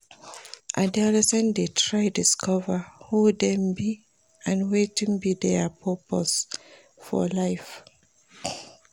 Adolescents de try discover who dem be and wetin be their purpose for life